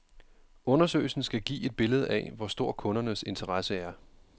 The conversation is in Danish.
Undersøgelsen skal give et billede af, hvor stor kundernes interesse er.